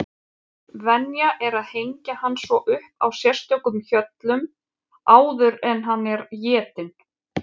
Venja er að hengja hann svo upp á sérstökum hjöllum áður en hann er étinn.